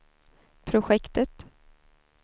projektet